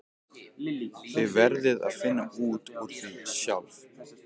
Þið verðið að finna út úr því sjálf.